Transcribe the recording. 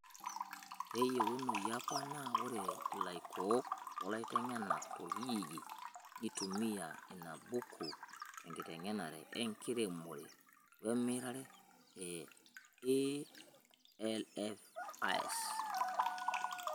Keyiounoyo apa naa ore ilaikook olaitengenak torkijijini neitumiya ina buku tenkitengenare enkiremore wemirare ee AIVs.